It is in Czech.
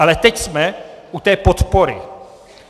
Ale teď jsme u té podpory.